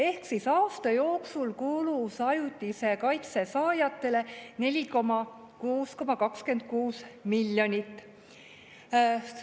Ehk siis aasta jooksul kulus ajutise kaitse saajatele 46,26 miljonit.